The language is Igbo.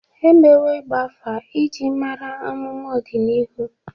E mewo ịgba afa iji mara amụma ọdịnihu.